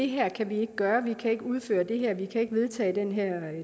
her kan vi ikke gøre vi kan ikke udføre det her vi kan ikke vedtage den her